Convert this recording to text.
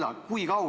Millal?